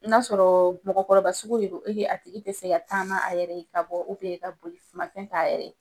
N'a sɔrɔ mɔkɔrɔba sugu de don a tigi ti se ka taama a yɛrɛ, ka bɔ, ka bolifɛn ta a yɛrɛ ye